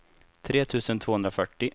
tre tusen tvåhundrafyrtio